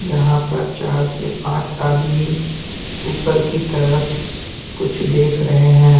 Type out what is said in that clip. जहाँ पर चार से पाँच आदमी ऊपर की तरफ कुछ देख रहे है।